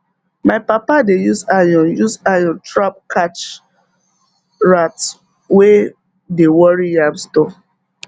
my papa dey use iron use iron trap catch rat wey dey worry yam store